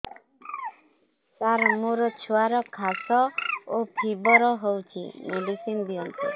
ସାର ମୋର ଛୁଆର ଖାସ ଓ ଫିବର ହଉଚି ମେଡିସିନ ଦିଅନ୍ତୁ